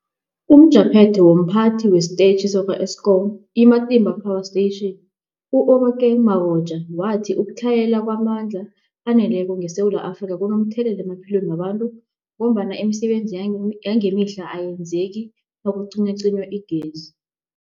UmJaphethe womPhathi wesiTetjhi sakwa-Eskom i-Matimba Power Station u-Obakeng Mabotja wathi ukutlhayela kwamandla aneleko ngeSewula Afrika kunomthelela emaphilweni wabantu ngombana imisebenzi yang yangemihla ayenzeki nakucinywacinywa igezi.